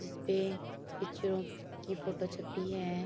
जिस पे पिक्चरों की फोटो छपी है।